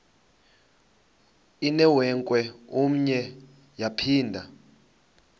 inewenkwe umnwe yaphinda